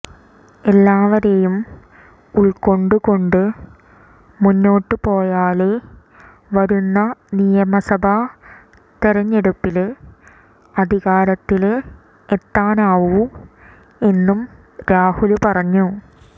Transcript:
എല്ലാവരെയും ഉള്ക്കൊണ്ട് കൊണ്ടു മുന്നോട്ടുപോയാലേ വരുന്ന നിയമസഭാ തെരഞ്ഞെടുപ്പില് അധികാരത്തില് എത്താനാവൂ എന്നും രാഹുല് പറഞ്ഞു